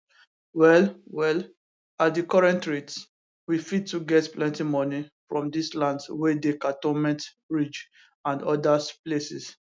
well well at di current rates we fit to get plenty moni from dis lands wia dey cantonment ridge and odas places